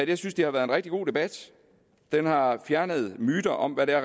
jeg synes det har været en rigtig god debat den har fjernet myter om hvad det er